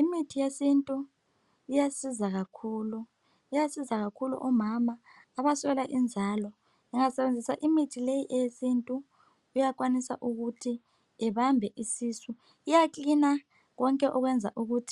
Imithi yesintu iyasiza kakhulu iyasiza kakhulu omama abaswela inzalo ungasebenzisa imithi leyi eyesintu uyakwanisa ukut ubambe isisu iyakilina konke okwenza ukut